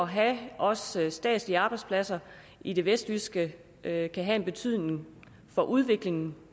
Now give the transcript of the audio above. have også statslige arbejdspladser i det vestjyske kan have en betydning for udviklingen